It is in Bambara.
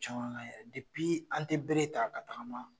Caman k'an yɛrɛ ye, an te bere ta ka tagama